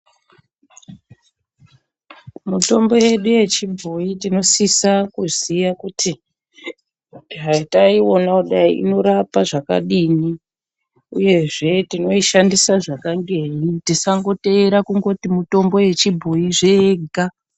Mitombo yedu yechibhoyi tinosisa kuziya kutihai taiona kudai inorapa zvakadini uyezve tinoishqndisa zvakangenyi tisangoteera kuti mitombo yechibhoyi zvega.